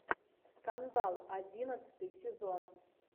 скандал одиннадцатый сезон